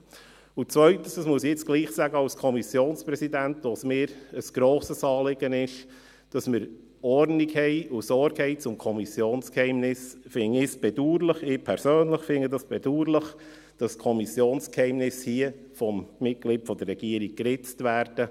Zweitens – dies muss ich als Kommissionspräsident doch noch sagen, weil es mir ein grosses Anliegen ist: Wenn wir Ordnung haben und Sorge tragen zum Kommissionsgeheimnis, finde ich es bedauerlich – ich persönlich finde es bedauerlich –, dass das Kommissionsgeheimnis hier von einem Mitglied der Regierung geritzt wird.